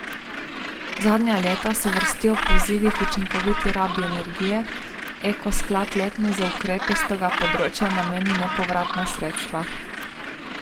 Zadnja leta se vrstijo pozivi k učinkoviti rabi energije, Eko sklad letno za ukrepe s tega področja nameni nepovratna sredstva.